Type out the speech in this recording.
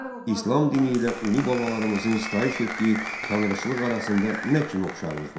İslam dini ilə ulu babalarımızın sitayiş etdiyi tanrıçılıq arasında nə kimi oxşarlıq vardı?